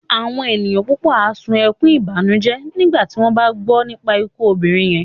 Àwọn ènìyàn púpọ̀ á sun ẹkún ìbànújẹ́ nígbà tí wọ́n bá gbọ́ nípa ikú obìnrin yẹn